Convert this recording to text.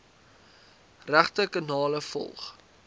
regte kanale volg